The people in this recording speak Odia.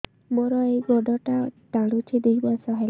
ମୋର ଏଇ ଗୋଡ଼ଟା ଟାଣୁଛି ଦୁଇ ମାସ ହେଲା